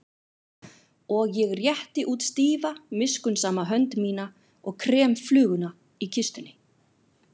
Og ég rétti út stífa miskunnsama hönd mína og krem fluguna í kistunni.